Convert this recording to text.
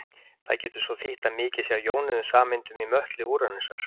Það getur svo þýtt að mikið sé af jónuðum sameindum í möttli Úranusar.